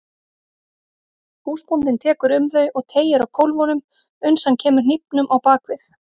Húsbóndinn tekur um þau og teygir á kólfunum uns hann kemur hnífnum á bak við.